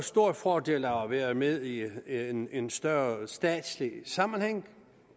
stor fordel af at være med i en en større statslig sammenhæng